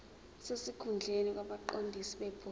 sesikhundleni kwabaqondisi bebhodi